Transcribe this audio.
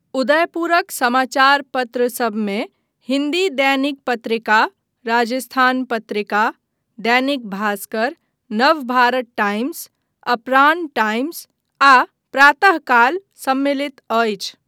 उदयपुरक समाचार पत्रसबमे हिन्दी दैनिक पत्रिका राजस्थान पत्रिका, दैनिक भास्कर, नवभारत टाइम्स, अपरांह टाइम्स आ प्रातःकाल सम्मिलित अछि।